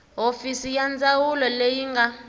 hofisi ya ndzawulo leyi nga